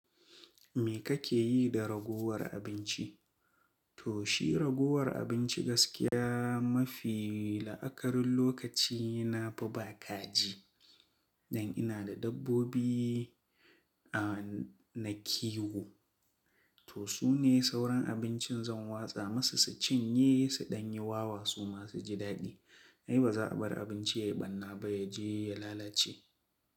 Me kake yi da ragowar abinci? To shi ragowar abinci gaskiya mafi la'akarin lokaci na di ba kaji. Dan ina da dabbobi na kiwo. To su ne sauran abincin zan watsa musu su cinye, suɗan yi wawa su ma su ji daɗi. Ai ba za a bar abinci ya yi ɓanna ba, ya je ya lalace.